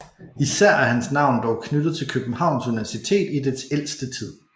Især er hans navn dog knyttet til Københavns Universitet i dets ældste tid